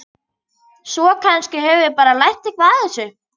Svo kannski höfum við bara lært eitthvað á þessu.